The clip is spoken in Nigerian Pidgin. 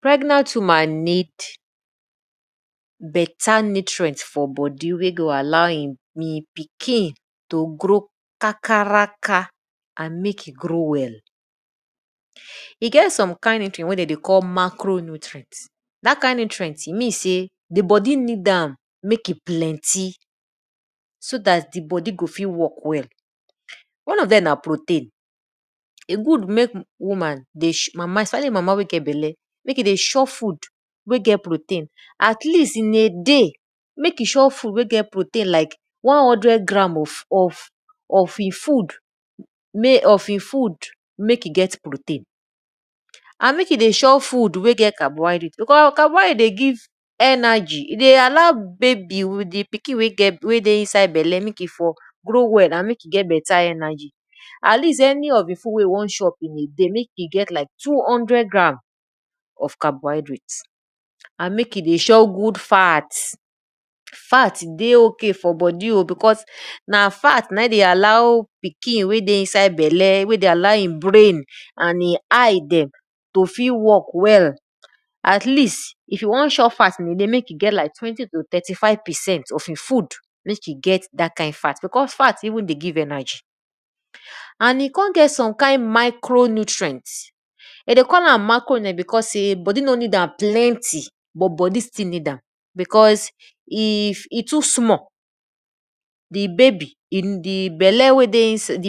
Pregnant woman need beta nutrient for e bodi way go mek e pikin grow kakaraka and mek e grow well. E get some kind nutrient wey de dey call macro-nutrient.dat kind nutrient, di bodi need am so dat di bodi go fit work well. One of dem na rotein. E good mek woman dey especially mama wey get belle mek e dey shop food wey get protein at least in a dey mek e chop food wey get protein like one hundred gram of e food mek e get pro ten. And mek e dey chop food wey get carbohydrate because carbohydrate dey give energy, e dey allow babi, di pikin wey dey inside belle mek for grow well,, mek e get energy at least any of e food wey e won chop in a day mek e get like two-hundred gram of carbohydrate and mek e dey chop good fat.fat dey ok for bodi o because na fat na in dey allow pikinwey dey inside belle wey dey allow e brain and e eyey dem to fit work well. At least if you wan chop fat in a dey, mek e get like twenty to twenty-five percent in a day because fat dey give energy. And e kon get some kind some kind micro-nutrient, de dey call am macro because sey bodi no need am plenty but bodi still need am but e too small, di babi, di